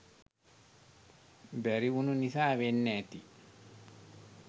බැරි උනු නිසා වෙන්න ඇති.